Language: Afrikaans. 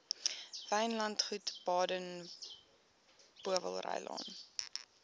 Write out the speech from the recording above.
wynlandgoed baden powellrylaan